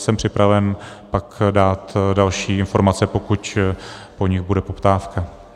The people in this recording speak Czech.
Jsem připraven pak dát další informace, pokud po nich bude poptávka.